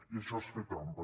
i això és fer trampa